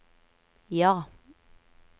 ja